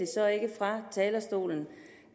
så ikke fra talerstolen